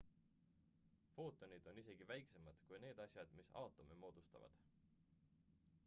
footonid on isegi väiksemad kui need asjad mis aatome moodustavad